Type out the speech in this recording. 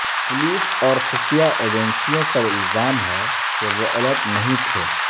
police اور خفیہ ایجنسیوں پر الزام ہے کہ وہ الرٹ نہیں تھے